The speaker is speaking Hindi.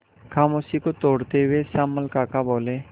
खामोशी को तोड़ते हुए श्यामल काका बोले